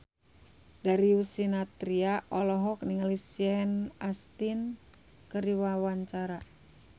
Darius Sinathrya olohok ningali Sean Astin keur diwawancara